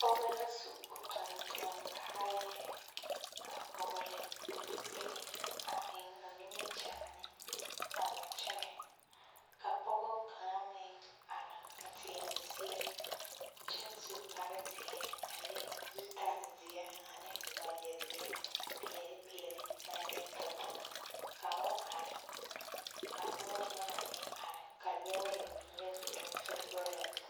Pɔge la su o tontoŋ kaayaa a vɔgele o zupili a eŋ o nimikyaane a wa kyɛnɛ, ka pɔge kaŋa meŋ are a teɛ o seɛ kyɛ su kpare zeɛ a le zutal-zeɛ ane wagyɛ zeɛ peɛle peɛle naŋ yɔ tɔ tɔ ka o are ka noba yaga meŋ are ka lɔɛ meŋ yɔ zoro sokoɔraa zu.